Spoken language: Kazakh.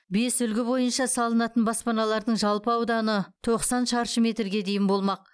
бес үлгі бойынша салынатын баспаналардың жалпы ауданы тоқсан шаршы метрге дейін болмақ